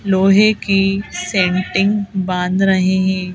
लोहे की सेन्टिंग बांध रहे है।